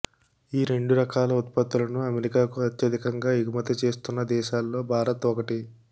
ఈ రెండు రకాల ఉత్పత్తులను అమెరికాకు అత్యధికంగా ఎగుమతి చేస్తున్న దేశాల్లో భారత్ ఒకటి